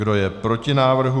Kdo je proti návrhu?